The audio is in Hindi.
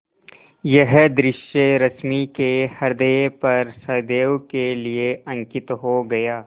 यह दृश्य रश्मि के ह्रदय पर सदैव के लिए अंकित हो गया